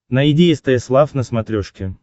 найди стс лав на смотрешке